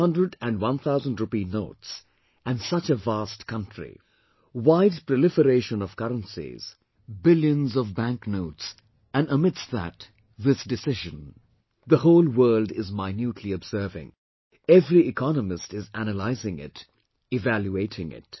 500 and 1000 rupee notes and such a vast country, wide proliferation of currencies, billions and trillions of bank notes and amidst that, this decision the whole world is minutely observing, every economist is analysing it, evaluating it